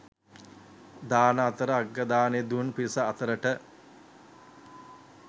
දාන අතර අග්‍ර දානය දුන් පිරිස අතරට